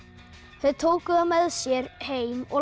þau tóku það með sér heim og